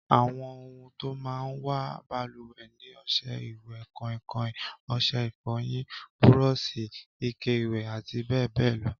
Àwọn ohun tó máa ń wà balùwẹ̀ ni ọṣẹ ìwẹ̀, kọ̀ìnkọ̀ìn, ọṣẹ ìfọyín, búrọ́ọ̀ṣì, ike ìwẹ̀, àti bẹ́ẹ̀ bẹẹ lọ